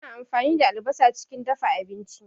Ana ampani da albasa chikin dafa abinchi